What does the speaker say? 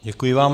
Děkuji vám.